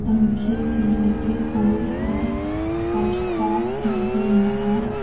पंखे भी लगे हुए हैं और साथ में ही यहां--